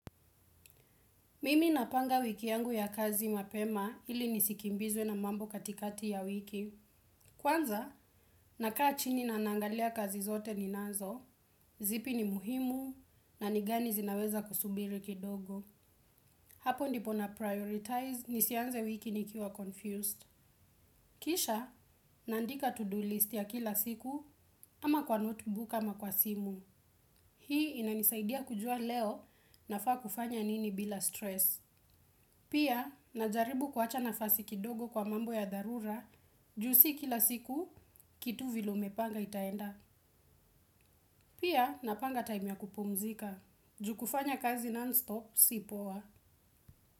Mimi napanga wiki yangu ya kazi mapema ili nisikimbizwe na mambo katikati ya wiki. Kwanza, nakaa chini na nangalia kazi zote ninazo, zipi ni muhimu na nigani zinaweza kusubiri kidogo. Hapo ndipo na prioritize, nisianze wiki nikiwa confused. Kisha, nandika to-do list ya kila siku ama kwa note book ama kwa simu. Hii inanisaidia kujua leo na faa kufanya nini bila stress. Pia, najaribu kuacha nafasi kidogo kwa mambo ya dharura, ju si kila siku, kitu vile umepanga itaenda. Pia, napanga time ya kupumzika. Ju kufanya kazi non-stop, si poa.